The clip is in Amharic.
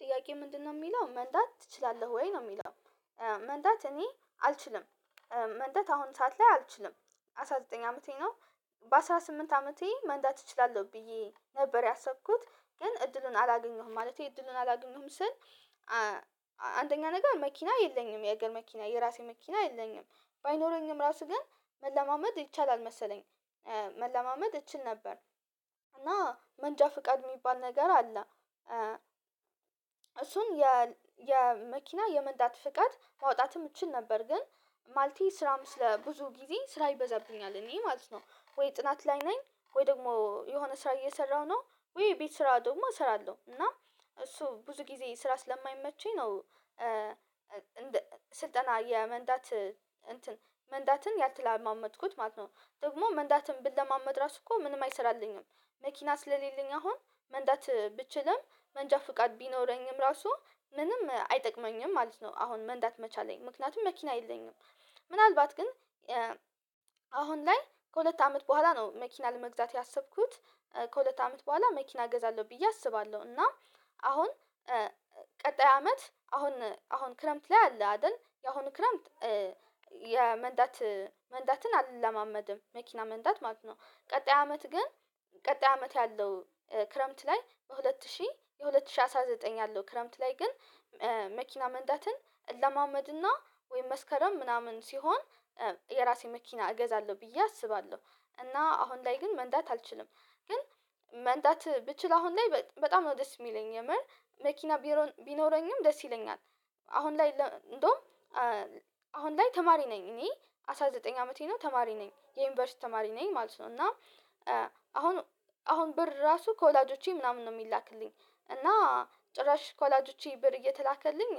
ጥያቄ ምንድነው የሚለው መንዳት ትችላለህ ወይ ነው የሚለው? መንዳት እኔ አልችልም። መንዳት አሁን ሰዓት ላይ አልችልም። አስራ ዘጠኝ አመቴ ነው። በአስራ ስምንት አመቴ መንዳት እችላለሁ ብዬ ነበር ያሰብኩት ግን እድሉን አላገኘሁም ማለቴ እድሉን አላገኘሁም ስል። አንደኛ ነገር መኪና የለኝም የሀገር መኪና የራሴ መኪና የለኝም። ባይኖረኝም ራሱ ግን መለማመድ ይቻላል መሰለኝ። መለማመድ እችል ነበር። እና መንጃ ፍቃድ የሚባል ነገር አለ። እሱን የል የመኪና የመንዳት ፍቃድ ማውጣትም እችል ነበር። ግን ማልቴ ስራም ስለ ብዙ ጊዜ ስራ ይበዛብኛል እኔ ማለት ነው ወይ ጥናት ላይ ነኝ። ወይ ደግሞ የሆነ ስራ እየሰራሁ ነው ወይ ቤት ስራ ደግሞ እሰራለሁ እና እሱ ብዙ ጊዜ ስራ ስለማይመቸኝ ነው። ስልጠና የመንዳት እንትን መንዳትን ያልተለማመድኩት ማለት ነው። ደግሞ መንዳትን ብለማመድ ራሱ እኮ ምንም አይሰራልኝም። መኪና ስለሌለኝ አሁን መንዳት ብችልም መንጃ ፍቃድ ቢኖረኝም ራሱ ምንም አይጠቅመኝም ማለት ነው። አሁን መንዳት መቻሌ ምክንያቱም መኪና የለኝም። ምናልባት ግን አሁን ላይ ከሁለት አመት በኋላ ነው መኪና ለመግዛት ያሰብኩት። ከሁለት አመት በኋላ መኪና እገዛለሁ ብዬ አስባለሁ። እና አሁን ቀጣይ አመት አሁን አሁን ክረምት ላይ አለ አይደል የአሁኑ ክረምት የመንዳት መንዳትን አልለማመድም መኪና መንዳት ማለት ነው። ቀጣይ አመት ግን ቀጣይ አመት ያለው ክረምት ላይ በሁለት ሺህ የሁለት ሺህ አስራ ዘጠኝ ያለው ክረምት ላይ ግን መኪና መንዳትን እለማመድና ወይም መስከረም ምናምን ሲሆን የራሴ መኪና እገዛለሁ ብዬ አስባለሁ። እና አሁን ላይ ግን መንዳት አልችልም። ግን መንዳት ብችል አሁን ላይ በጣም ነው ደስ የሚለኝ የምር መኪና ቢኖረኝም ደስ ይለኛል። አሁን ላይ እንደውም አሁን ላይ ተማሪ ነኝ እኔ አስራ ዘጠኝ አመቴ ነው ተማሪ ነኝ የዩኒቨርሲቲ ተማሪ ነኝ ማለት ነው። እና አሁን አሁን ብር ራሱ ከወላጆቼ ምናምን ነው የሚላክልኝ እና ጭራሽ ከወላጆቼ ብር እየተላከልኝ